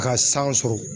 Ka san sɔrɔ